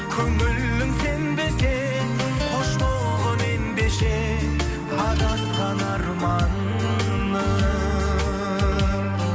көңілің сенбесе қош болғың ендеше адасқан арманым